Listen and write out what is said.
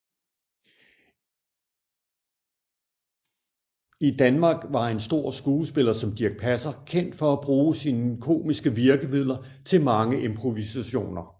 I Danmark var en stor skuespiller som Dirch Passer kendt for at bruge sine komiske virkemidler til mange improvisationer